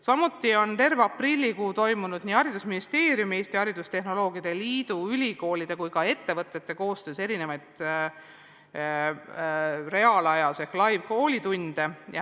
Samuti on terve aprillikuu toimunud nii Haridus- ja Teadusministeeriumi, Eesti Haridustehnoloogide Liidu, ülikoolide kui ka ettevõtete koostöös reaalajas ehk live’is koolitunnid.